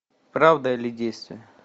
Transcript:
правда или действие